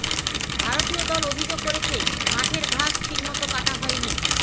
ভারতীয় দল অভিযোগ করেছে মাঠের ঘাস ঠিক মতো কাটা হয়নি